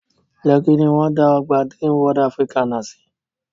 Lẹ́kí ní wọ́n dá ọgbà Dreamworld Africana sí